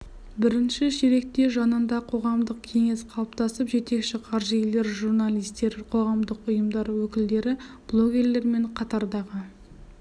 бірінші ширекте жанында қоғамдық кеңес қалыптасып жетекші қаржыгерлер журналистер қоғамдық ұйымдар өкілдері блогерлер мен қатардағы